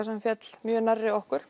sem féll mjög nærri okkur